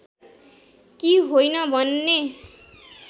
कि होइन भन्ने